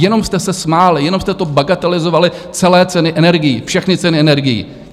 Jenom jste se smáli, jenom jste to bagatelizovali, celé ceny energií, všechny ceny energií.